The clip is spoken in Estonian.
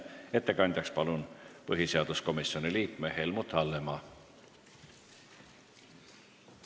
Ettekandeks palun kõnetooli põhiseaduskomisjoni liikme Helmut Hallemaa!